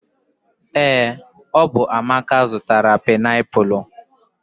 ee, ọ bụ amaka zụtara painiapulu